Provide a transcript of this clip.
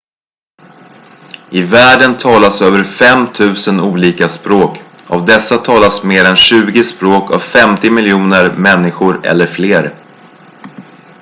i världen talas över 5 000 olika språk av dessa talas mer än tjugo språk av 50 miljoner människor eller fler